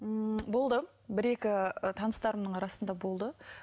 ммм болды бір екі таныстарымның арасында болды